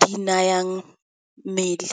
di nayang mmele.